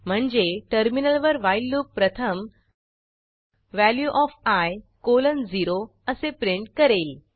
म्हणजे टर्मिनलवर while loop प्रथम वॅल्यू ओएफ i 0 असे प्रिंट करेल